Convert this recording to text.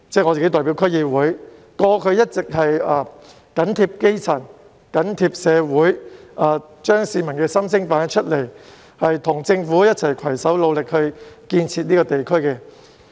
我自己亦身兼區議會議員，過去一直緊貼基層和社會，反映市民心聲，與政府攜手努力建設我所屬的地區。